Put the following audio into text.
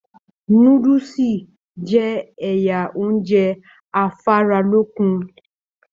Núdúsí jẹ́ ẹyà ounjẹ afaralókun.